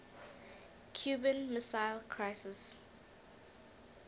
cuban missile crisis